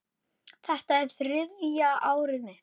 Þetta er þriðja árið mitt.